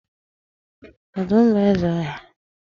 Ọdụm bụ eze ọhịa.